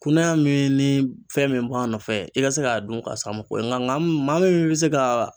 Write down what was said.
Kunnaya min ni fɛn min b'a nɔfɛ i ka se k'a dun k'a sababu bɔ nka maa min bɛ se ka.